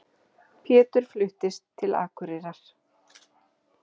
Pétur fluttist til Akureyrar.